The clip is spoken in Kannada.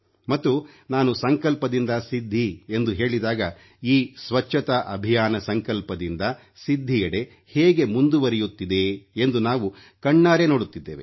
ಮತ್ತು ನಾನು ಸಂಕಲ್ಪದಿಂದ ಸಿದ್ಧಿ ಎಂದು ಹೇಳಿದಾಗ ಈ ಸ್ವಚ್ಛತಾ ಅಭಿಯಾನ ಸಂಕಲ್ಪದಿಂದ ಸಿದ್ಧಿಯೆಡೆ ಹೇಗೆ ಮುಂದುವರಿಯುತ್ತಿದೆ ಎಂದು ನಾವು ಕಣ್ಣಾರೆ ನೋಡುತ್ತಿದ್ದೇವೆ